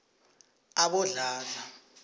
abodladla